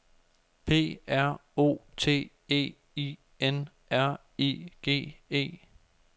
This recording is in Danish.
P R O T E I N R I G E